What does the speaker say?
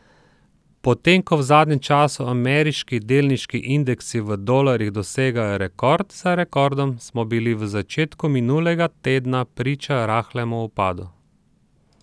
Potem ko v zadnjem času ameriški delniški indeksi v dolarjih dosegajo rekord za rekordom, smo bili v začetku minulega tedna priča rahlemu upadu.